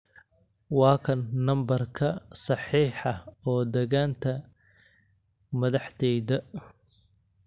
waa kan nambarka saxiixa oo dagaanta madaxdeyda